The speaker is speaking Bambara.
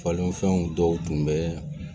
Falenfɛnw dɔw tun bɛ